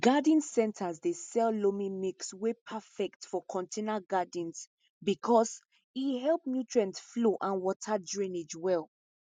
garden centers dey sell loamy mix wey perfect for container gardens because e help nutrient flow and water drainage well